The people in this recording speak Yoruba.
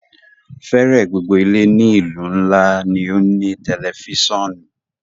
Fẹẹrẹ gbogbo ile ni ilu nla ni o ni a tẹlifisiọnu